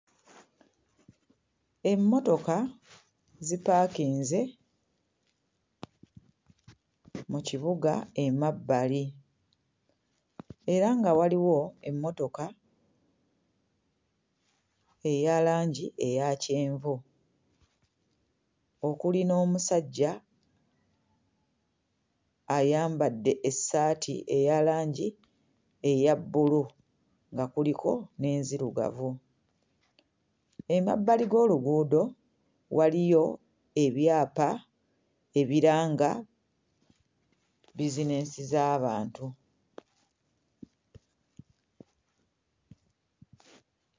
Emmotoka zipaakinze mu kibuga emabbali era nga waliwo emmotoka eya langi eya kyenvu, okuli n'omusajja ayambadde essaati eya langi eya bbulu nga kuliko n'enzirugavu. Emabbali g'oluguudo waliyo ebyapa ebiranga bizineesi z'abantu.